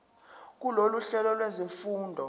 kulolu hlelo lwezifundo